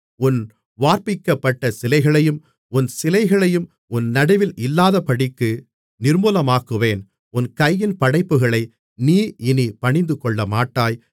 உன் வார்ப்பிக்கப்பட்ட சிலைகளையும் உன் சிலைகளையும் உன் நடுவில் இல்லாதபடிக்கு நிர்மூலமாக்குவேன் உன் கையின் படைப்புகளை நீ இனிப் பணிந்துகொள்ளமாட்டாய்